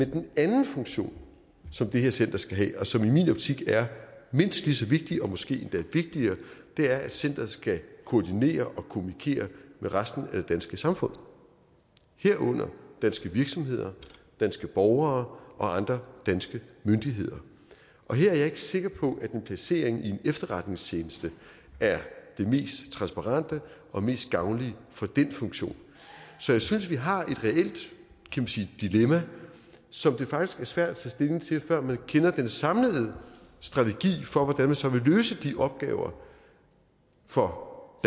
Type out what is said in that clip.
den anden funktion som det her center skal have og som i min optik er mindst lige så vigtig og måske endda vigtigere er at centeret skal koordinere og kommunikere med resten af det danske samfund herunder danske virksomheder danske borgere og andre danske myndigheder her er jeg ikke sikker på at en placering i en efterretningstjeneste er det mest transparente og mest gavnlige for den funktion så jeg synes vi har et reelt dilemma som det faktisk er svært at tage stilling til før vi kender den samlede strategi for hvordan man så vil løse de opgaver for